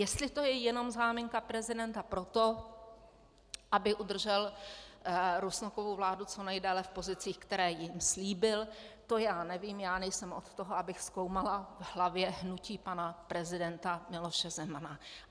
Jestli to je jenom záminka prezidenta pro to, aby udržel Rusnokovu vládu co nejdéle v pozicích, které jim slíbil, to já nevím, já nejsem od toho, abych zkoumala v hlavě hnutí pana prezidenta Miloše Zemana.